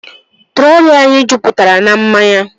Trọli anyị jupụtara na mmanya